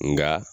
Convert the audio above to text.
Nka